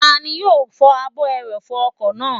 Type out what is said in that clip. Tani yóò fọ ààbò ẹrọ̀fọ̀ ọkọ̀ náà?